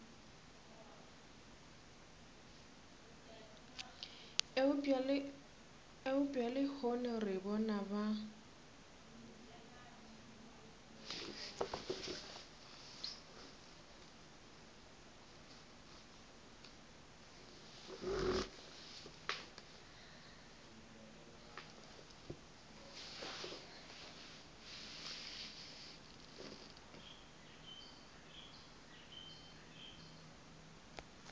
eupša lehono re bona ba